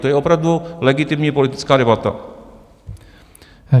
To je opravdu legitimní politická debata.